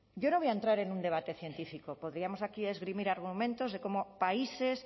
yo no voy a entrar en un debate científico podríamos aquí esgrimir argumentos de cómo países